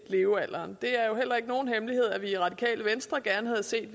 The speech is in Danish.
levealderen det er jo heller ikke nogen hemmelighed at vi i radikale venstre gerne havde set at